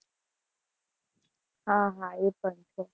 હા હા એ પણ છે.